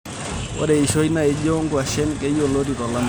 Ore eishoi naijo ngwashen keyioloti tolameyu.